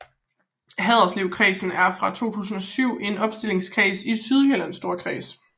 Haderslevkredsen er fra 2007 en opstillingskreds i Sydjyllands Storkreds